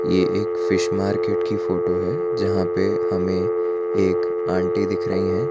यह एक fish market की फोटो है जहां पे हमें एक आंटी दिख रही हैं।